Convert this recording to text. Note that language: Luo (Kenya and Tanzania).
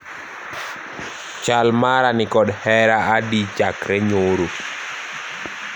chal mara nikod hera adi chakre nyoro